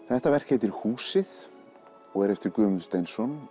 þetta verk heitir húsið og er eftir Guðmund Steinsson